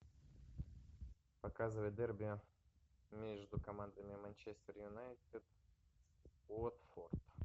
показывай дерби между командами манчестер юнайтед уотфорд